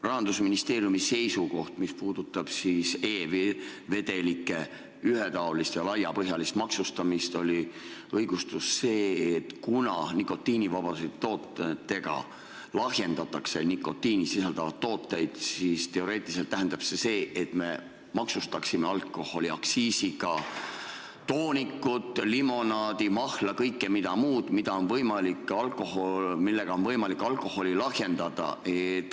Rahandusministeeriumi seisukohale, mis puudutab e-vedelike ühetaolist ja laiapõhjalist maksustamist, oli selline õigustus, et kuna nikotiinivabade toodetega lahjendatakse nikotiini sisaldavaid tooteid, mis teoreetiliselt tähendab seda, et me maksustaksime alkoholiaktsiisiga toonikut, limonaadi, mahla ja mida kõike veel, millega on võimalik alkoholi lahjendada.